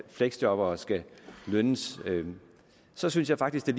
fleksjobbere skal lønnes så synes jeg faktisk det